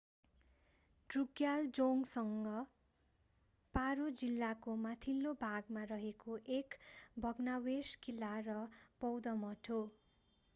ड्रुकग्याल जोङ्ग पारो जिल्लाको माथिल्लो भाग फोन्डे गाउँमा मा रहेको एक भग्नावशेष किल्ला र बौद्ध मठ हो।